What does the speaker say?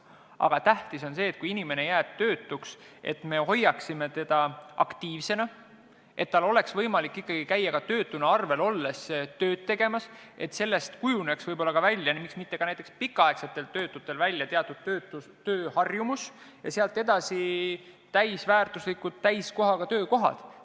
Aga tähtis on see, et siis, kui inimene jääb töötuks, me hoiaksime teda aktiivsena, nii et tal oleks võimalik ikkagi ka töötuna arvel olles käia tööd tegemas, et sellest kujuneks välja teatud tööharjumus, näiteks pikka aega tööta olnud inimestel, ja sealt edasi tuleksid ka täisväärtuslikud, täiskohaga töökohad.